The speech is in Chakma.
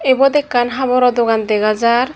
ibot ekkan haboro dogan dega jar.